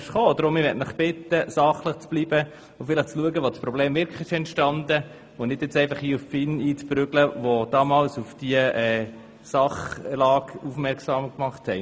Ich möchte Sie bitten, sachlich zu bleiben und vielleicht zu schauen, wo das Problem wirklich entstanden ist, anstatt auf die FIN einzuprügeln, die damals bereits auf diese Sachlage aufmerksam gemacht hat.